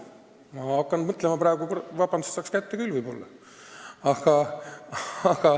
Ma hakkan mõtlema praegu, saaks kätte küll võib-olla.